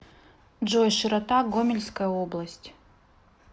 джой широта гомельская область